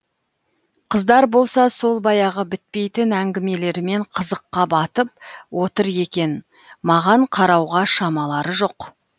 қыздар болса сол баяғы бітпейтін әңгімелерімен қызыққа батып отыр екен маған қарауға шамалары жоқ